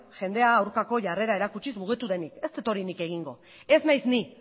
jendea aurkako jarrera erakutsiz mugitu denik ez dut hori nik egingo ez naiz ni